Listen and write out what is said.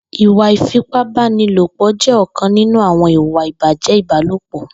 Ìwà ifipábànilópọ jè ọkán ninú awọn ìwà ibájẹ́ ibàlópọ